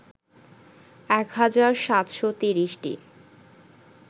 ১ হাজার ৭৩০টি